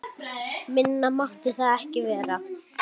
Minna mátti það ekki vera!